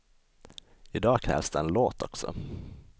I dag krävs det en låt också.